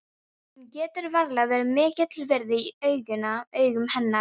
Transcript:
Hann getur varla verið mikils virði í augum hennar núna.